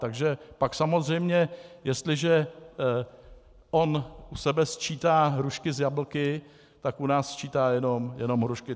Takže pak samozřejmě jestliže on u sebe sčítá hrušky s jablky, tak u nás sčítá jenom hrušky.